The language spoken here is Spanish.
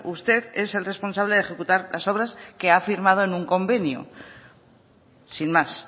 usted es el responsable de ejecutar las obras que ha firmado en un convenio sin más